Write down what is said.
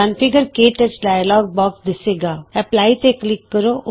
configure ਕੇ touch dialog box ਦਿੱਸੇਗਾਐਪਲਾਈ ਤੇ ਕਲਿਕ ਕਰੋ